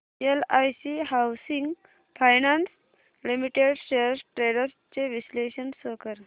LIC housing finance limited shares trends चे विश्लेषण show कर